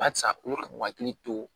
Barisa u bi ka u hakili to